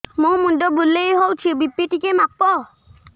ମୋ ମୁଣ୍ଡ ବୁଲେଇ ହଉଚି ବି.ପି ଟିକେ ମାପ